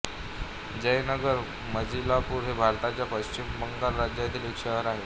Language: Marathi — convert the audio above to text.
जयनगर मजिलपुर हे भारताच्या पश्चिम बंगाल राज्यातील एक शहर आहे